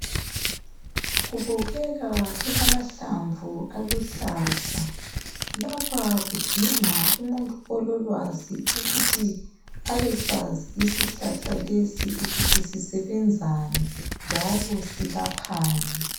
Kubukeka kulamahlamvu aluhlaza. Lapha kudinga umuntu ololwazi ukuthi abesazi isihlahla lesi ukuthi sisebenzani njalo silaphani.